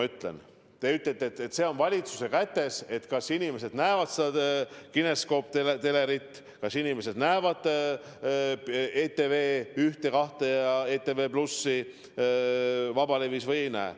Te ütlete, et see on valitsuse kätes, kas inimesed näevad pilti kineskooptelerist, kas inimesed näevad ETV-d, ETV2 ja ETV+ vabalevis või ei näe.